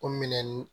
O minɛnni